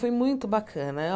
Foi muito bacana.